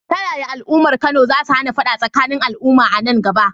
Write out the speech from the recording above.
Ta yaya al’ummar Kano za su hana fada tsakanin al’umma a nan gaba?